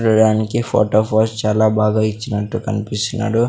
చూడటానికి photo pose చాలా బాగా ఇచ్చినట్టు కన్పిస్తున్నాడు.